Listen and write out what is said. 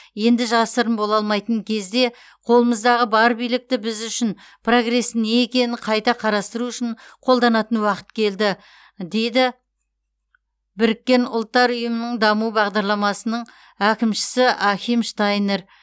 енді жасырын бола алмайтын кезде қолымыздағы бар билікті біз үшін прогресстің не екеніні қайта қарастыру үшін қолданатын уақыт келді дейді біріккен ұлттар ұйымының даму бағдарламасының әкімшісі ахим штайнер